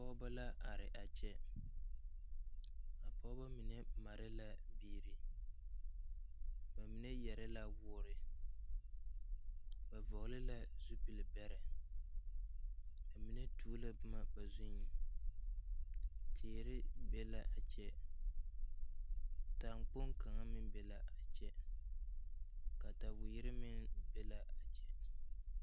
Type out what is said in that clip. Pɔgeba la are a kyɛ a pɔgeba mine made la biiri bamine yare la woore ba vɔgle la zupil bɛrɛ bamine tuo la boma ba zuiŋ teere be la a kyɛ taŋkpoŋ kaŋa meŋ be la a kyɛ kataweere meŋ be la a kyɛ.